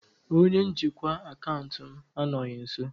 Onye njikwa akaụntụ m anọghị nso.